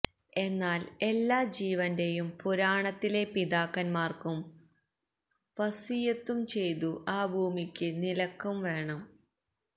എന്നാൽ എല്ലാ ജീവന്റെയും പുരാണത്തിലെ പിതാക്കന്മാർക്കും വസ്വിയ്യത്തും ചെയ്തു ആ ഭൂമിയ്ക്ക് നിലക്കും വേണം